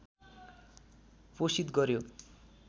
पोषित गर्‍यो